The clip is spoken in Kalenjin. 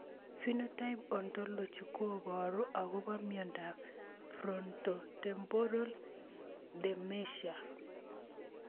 Phenotype ontology koparu akopo miondop Frontotemporal dementia